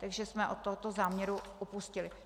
Takže jsme od tohoto záměru upustili.